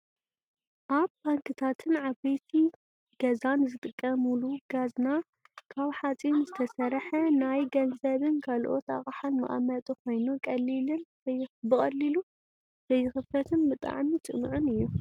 ኣብ ባንክታትን ዓበይቲ ገዛን ዝጥቀሙሉ ካዝና ካብ ሓፂን ዝተሰረሓ ናይ ገንዘብን ካልኦት ኣቅሓን መቀመጢ ኮይኑ ቀሊሉ ዘይክፈትን ብጣዕሚ ፅኑዑን እዩ።